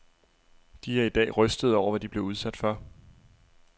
De er i dag rystede over, hvad de blev udsat for.